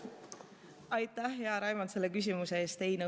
Aitäh, hea Raimond, selle küsimuse eest!